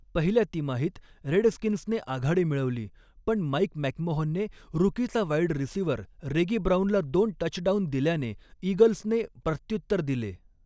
पहिल्या तिमाहीत रेडस्कीन्सने आघाडी मिळवली, पण माईक मॅकमोहनने रूकीचा वाईड रिसिव्हर रेगी ब्राऊनला दोन टचडाऊन दिल्याने, ईगल्सने प्रत्युत्तर दिले.